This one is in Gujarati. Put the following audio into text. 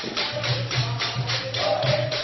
સોન્ગ